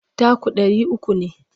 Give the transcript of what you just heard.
Taku ɗari uku ne.